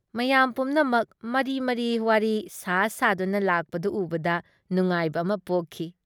ꯃꯌꯥꯝ ꯄꯨꯝꯅꯃꯛ ꯃꯔꯤ-ꯃꯔꯤ ꯋꯥꯔꯤ ꯁꯥ-ꯁꯥꯗꯨꯅ ꯂꯥꯛꯄꯗꯨ ꯎꯕꯗ ꯅꯨꯉꯥꯏꯕ ꯑꯃ ꯄꯣꯛꯈꯤ ꯫